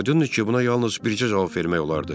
Aydındır ki, buna yalnız bircə cavab vermək olardı.